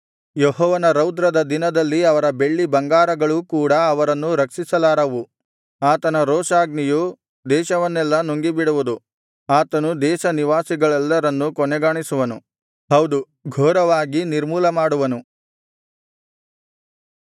ಯೆಹೋವನ ರೌದ್ರದ ದಿನದಲ್ಲಿ ಅವರ ಬೆಳ್ಳಿ ಬಂಗಾರಗಳೂ ಕೂಡಾ ಅವರನ್ನು ರಕ್ಷಿಸಲಾರವು ಆತನ ರೋಷಾಗ್ನಿಯು ದೇಶವನ್ನೆಲ್ಲಾ ನುಂಗಿಬಿಡುವುದು ಆತನು ದೇಶನಿವಾಸಿಗಳೆಲ್ಲರನ್ನೂ ಕೊನೆಗಾಣಿಸುವನು ಹೌದು ಘೋರವಾಗಿ ನಿರ್ಮೂಲಮಾಡುವನು